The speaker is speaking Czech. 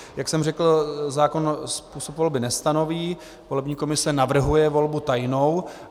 Jak jsem řekl, zákon způsob volby nestanoví, volební komise navrhuje volbu tajnou.